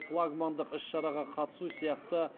флагмандық іс шараға қатысу сияқты